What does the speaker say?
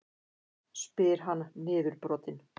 spyr hann niðurbrotinn.